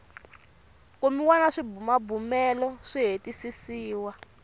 kumiwa na swibumabumelo swi hetisisiwa